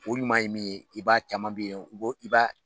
O ɲuman ye min ye i b'a caman bɛ yen i b'a